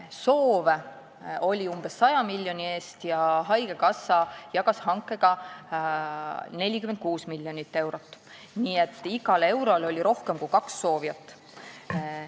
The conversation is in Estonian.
Soove oli umbes 100 miljoni eest ja haigekassa jagas hankega 46 miljonit eurot, nii et iga euro kohta tuli rohkem kui kaks soovijat.